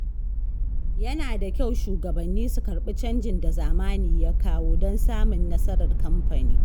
Yana da kyau shugabanni su ƙarbi canjin da zamani ya kawo don samun nasarar kamfani.